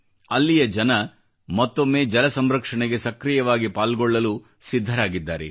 ಅಲ್ಲಿಯ ಜನ ಮತ್ತೊಮ್ಮೆ ಜಲ ಸಂರಕ್ಷಣೆಗೆ ಸಕ್ರೀಯವಾಗಿ ಪಾಲ್ಗೊಳ್ಳಲು ಸಿದ್ಧರಾಗಿದ್ದಾರೆ